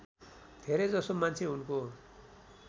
धेरैजसो मान्छे उनको